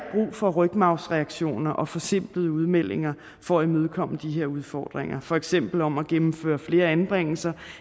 for rygmarvsreaktioner og forsimplede udmeldinger for at imødekomme de her udfordringer for eksempel om at gennemføre flere anbringelser